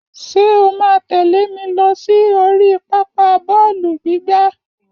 Ṣé o máa tẹ̀lé mi lọ sí oríi pápá bọ́ọ̀lù gbígbá?